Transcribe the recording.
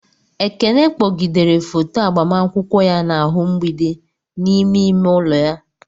Ekene kpọgidere foto agbamakwụkwọ ya n'ahụ mgbidi n'ime ime ụlọ ya.